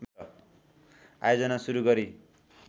आयोजना सुरु गरी